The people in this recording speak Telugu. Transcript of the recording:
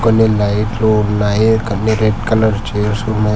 కొన్ని లైఫ్ లో ఉన్నాయి కొన్ని రెడ్ కలర్ చేర్స్ ఉన్నాయి.